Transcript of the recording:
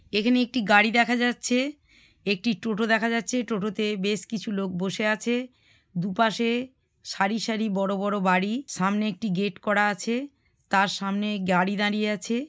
এখানে একটি গাড়ি দেখা যাচ্ছে একটি টোটা দেখা যাচ্ছে। টোটোতে বেশ কিছু লোক বসে আছে দুপাশে সারি সারি বড় বড় বাড়ি সামনে একটি গেট করা আছে। তার সামনে গাড়ি দাঁড়িয়ে আছে।